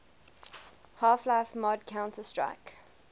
half life mod counter strike